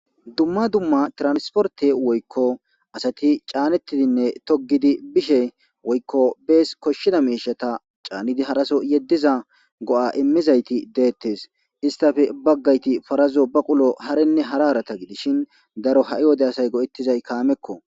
dumma dumma transporte woykko asati caanettidinne togidi bishe woykko bees koshshida meishata caanidi haraso yeddiza go'a immizayti deettes istafe baggayti parazo baqulo harinne hararata gidishin daro ha'i wode asay go'ettizay kaamekko